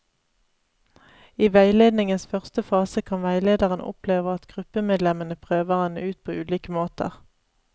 I veiledningens første fase kan veilederen oppleve at gruppemedlemmene prøver henne ut på ulike måter.